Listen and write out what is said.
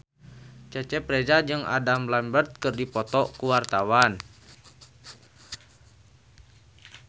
Cecep Reza jeung Adam Lambert keur dipoto ku wartawan